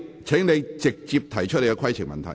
請你直接提出規程問題。